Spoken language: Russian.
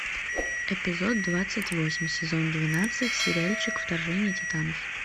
эпизод двадцать восемь сезон двенадцать сериальчик вторжение титанов